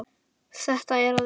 Þetta er að virka.